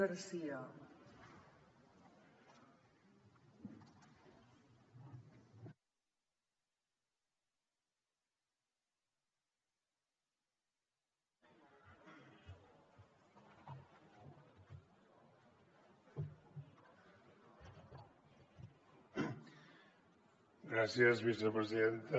gràcies vicepresidenta